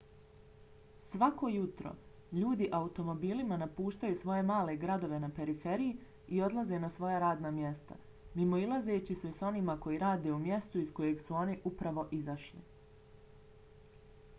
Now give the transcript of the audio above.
svako jutro ljudi automobilima napuštaju svoje male gradove na periferiji i odlaze na svoja radna mjesta mimoilazeći se s onima koji rade u mjestu iz kojeg su oni upravo izašli